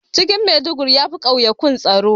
Cikin Maiduguri yafi ƙauyikan tsaro